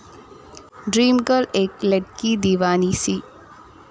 dream girl Ek Ladki Deewani C